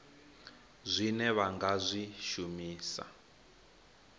zwine vha nga zwi shumisa